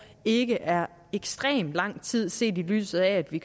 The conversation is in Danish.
ikke er ekstremt lang tid set i lyset af at vi